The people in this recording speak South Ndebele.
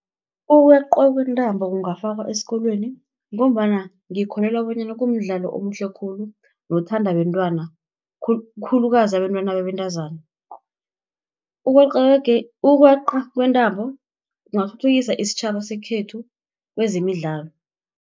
Ukweqwa kwentambo kungafakwa esikolweni, ngombana ngikholelwa bonyana kumdlalo omuhle khulu, nothandwa bentwana, khulukazi abentwana babentazana. Ukweqa kwentambo kungathuthukisa isitjhaba sekhethu kezemidlalo.